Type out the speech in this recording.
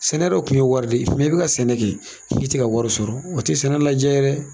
Sɛnɛ dɔ kun ye wari de ye i bi ka sɛnɛ kɛ i tɛ ka wari sɔrɔ o tɛ sɛnɛ lajaa ye dɛ.